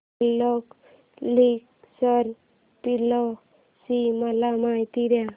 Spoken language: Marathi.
बल्लाळेश्वर पाली ची मला माहिती दे